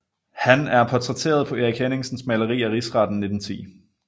Han er portrætteret på Erik Henningsens maleri af Rigsretten 1910